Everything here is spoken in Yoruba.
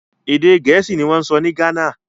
Èdè Gẹ̀ẹ́sì ni wọ́n ń sọ ní Ghana